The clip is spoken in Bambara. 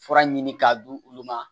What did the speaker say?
Fura ɲini k'a d'ulu ma